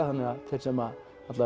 þannig að þeir sem